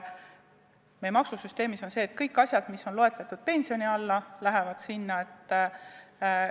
Meie maksusüsteemis on nii, et kõik asjad, mis on loetletud pensioni all, lähevad maksustamise alla.